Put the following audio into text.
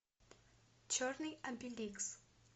черный обеликс